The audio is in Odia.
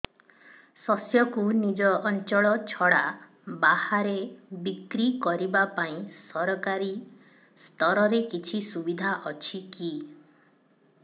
ଶସ୍ୟକୁ ନିଜ ଅଞ୍ଚଳ ଛଡା ବାହାରେ ବିକ୍ରି କରିବା ପାଇଁ ସରକାରୀ ସ୍ତରରେ କିଛି ସୁବିଧା ଅଛି କି